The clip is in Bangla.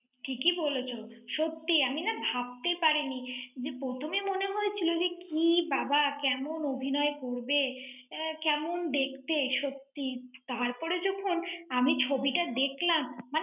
ঠিকই বলেছো। সত্যি আমি না ভাবতে পারিনি। যে প্রথমে মনে হয়েছিল যে কি বাবা কেমন অভিনয় করবে। আহ কেমন দেখতে, সত্যি। তারপরে যখন আমি ছবিটা দেখলাম।